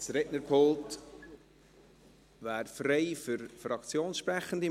Das Rednerpult wäre frei für Fraktionssprechende.